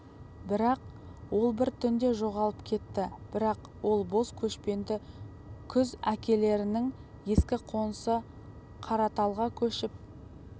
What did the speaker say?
бірақ ол бір түнде жоғалып кетті бірақ ол бос көшпеді күз әкелерінің ескі қонысы қараталға көшіп